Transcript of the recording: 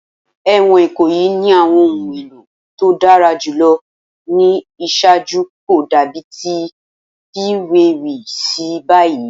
Ẹwọn Ikoyi ni awọn ohun elo to dara julọ ni iṣaaju ko dabi ti a fiwewe si bayi